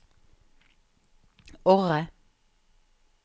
Orre